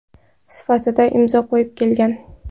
sifatida imzo qo‘yib kelgan.